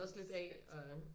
Også lidt af og